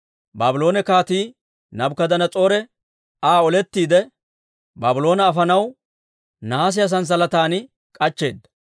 Baabloone Kaatii Naabukadanas'oore Aa olettiide, Baabloone afanaw nahaasiyaa sanssalatan k'achcheeda.